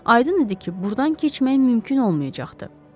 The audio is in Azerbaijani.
Aydın idi ki, burdan keçmək mümkün olmayacaqdı.